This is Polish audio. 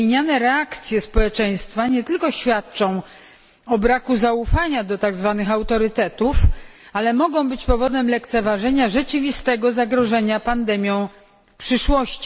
Wymieniane reakcje społeczeństwa nie tylko świadczą o braku zaufania do tak zwanych autorytetów, ale mogą być powodem lekceważenia rzeczywistego zagrożenia pandemią w przyszłości.